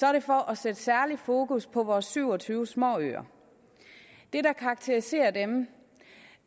er det for at sætte særlig fokus på vores syv og tyve småøer det der karakteriserer dem